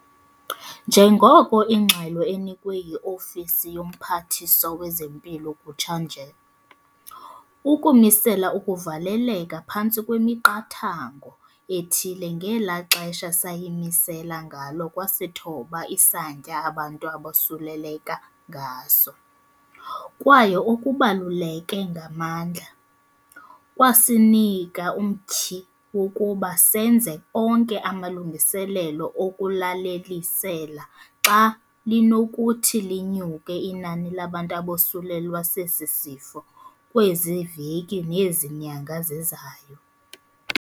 Nanjengoko ingxelo enikwe yi-Ofisi yoMphathiswa wezeMpilo kutsha nje, ukumisela ukuvaleleka phantsi kwemiqathango ethile ngela xesha sayimisela ngalo kwasithoba isantya abantu abosuleleka ngaso, kwaye okubaluleke ngamandla, kwasinika umtyhi wokuba senze onke amalungiselelo okulalelisela xa linokuthi linyuke inani labantu abosulelwa sesi sifo kwezi veki nezi nyanga zizayo.